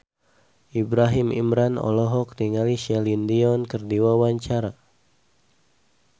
Ibrahim Imran olohok ningali Celine Dion keur diwawancara